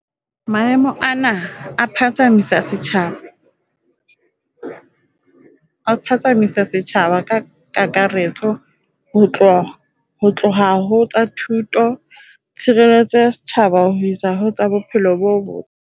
Maemo ana a phatsamisa setjhaba ka kakaretso ho tloha ho tsa thuto, tshireletso ya setjhaba ho isa ho tsa bophelo bo botle.